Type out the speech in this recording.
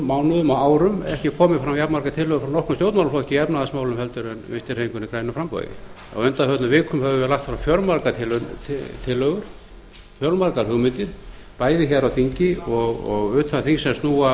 og árum ekki komið fram jafnmargar tillögur frá nokkrum stjórnmálaflokki í efnahagsmálum en vinstri hreyfingunni grænu framboði á undanförnum vikum höfum við lagt fram fjölmargar tillögur fjölmargar hugmyndir bæði hér á þingi og utan þings sem snúa